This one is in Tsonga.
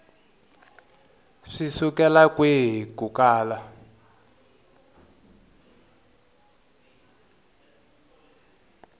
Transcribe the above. swi sukela kwihi ku kala